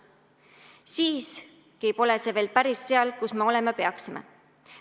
Siiski pole me veel päris seal, kus me olema peaksime.